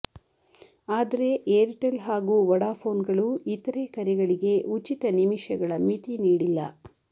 ಆದರೆ ಏರ್ಟೆಲ್ ಹಾಗೂ ವೊಡಾಫೋನ್ಗಳು ಇತರೆ ಕರೆಗಳಿಗೆ ಉಚಿತ ನಿಮಿಷಗಳ ಮಿತಿ ನೀಡಿಲ್ಲ